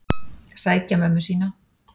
Sækja mömmu sína.